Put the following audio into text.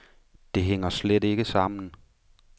Det hænger slet ikke sammen.